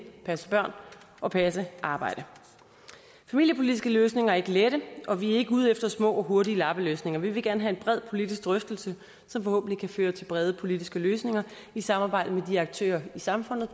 og passe børn og passe arbejde familiepolitiske løsninger er ikke lette og vi er ikke ude efter små og hurtige lappeløsninger vi vil gerne have en bred politisk drøftelse som forhåbentlig kan føre til brede politiske løsninger i samarbejde med de aktører i samfundet